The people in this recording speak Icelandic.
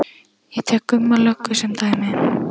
Ég tek Gumma löggu sem dæmi.